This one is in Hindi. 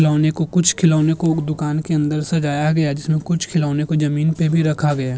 खिलौने को कुछ खिलौने को दुकान के अंदर सजाया गया है| जिसमें कुछ खिलौने को ज़मीन पे भी रखा गया है।